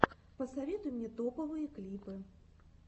посоветуй мне топовые клипы